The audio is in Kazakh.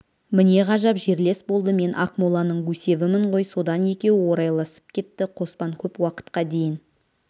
міне ғажап жерлес болды мен ақмоланың гусевымын ғой содан екеуі орайласып кетті қоспан көп уақытқа дейін